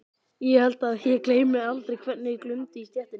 Ég held að ég gleymi aldrei hvernig glumdi í stéttinni.